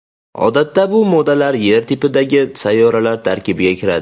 Odatda bu moddalar Yer tipidagi sayyoralar tarkibiga kiradi.